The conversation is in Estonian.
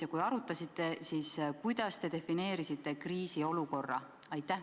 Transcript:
Ja kui arutasite, siis kuidas te kriisiolukorra defineerisite?